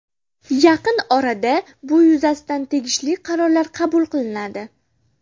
Yaqin orada bu yuzasidan tegishli qarorlar qabul qilinadi.